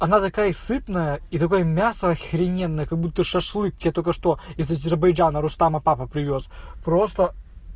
она такая сытная и такое мясо охрененное как-будто шашлык тебе только что из азербайджана рустама папа привёз просто